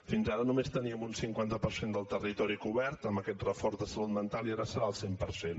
fins ara només teníem un cinquanta per cent del territori cobert amb aquest reforç de salut mental i ara serà el cent per cent